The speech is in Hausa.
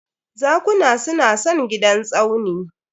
Zakuna su na son gidan Tsauni